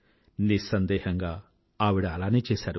నిస్సందేహంగా ఆవిడ అలానే చేసారు